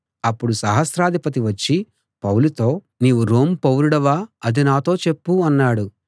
అప్పుడు సహస్రాధిపతి వచ్చి పౌలుతో నీవు రోమ్ పౌరుడివా అది నాతో చెప్పు అన్నాడు